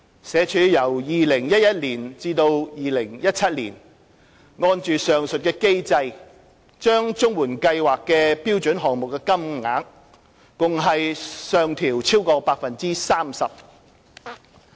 社署由2011年至2017年，按上述機制把綜援計劃的標準項目金額共上調超過 30%。